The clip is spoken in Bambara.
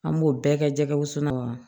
An b'o bɛɛ kɛ jɛgɛwusu la